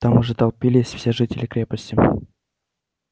там уже толпились все жители крепости